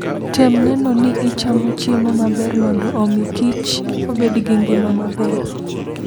Tem neno ni ichamo chiemo maber mondo omi kich obed gi ngima maber.